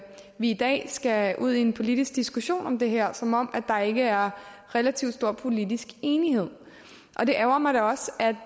vi i dag skal ud i en politisk diskussion om det her som om der ikke er relativt stor politisk enighed det ærgrer mig